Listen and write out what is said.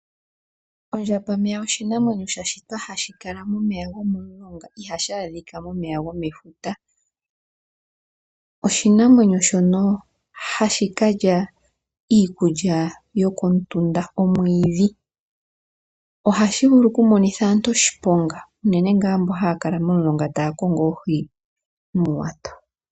Ondjamba meya oshinamwenyo sha shitwa hashi kala momeya gomomulonga, ihashi adhika momeya gomefuta. Oshinamwenyo shoka hashi kalya iikulya komutunda, omwidhi. Ohashi vulu oku monitha aantu oshiponga, uunene nga mboka haya kala momulonga taya kongo oohi noowato.